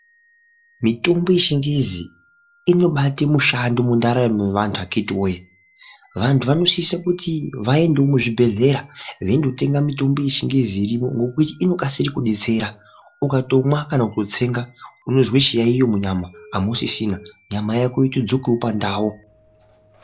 Mitombo yechingezi inobata mishando mukati mendaramo yevantu akiti woye vantu vanosisawo kuti vaendewo muzvibhedhlera veindotenga mitombo yechingezi irimo ngekuti inokasira kudetsera Ukatomwa kana kutsenga unonzwa chiyaiyo munyama amusisina nyama Yako yotodzokawo pandau.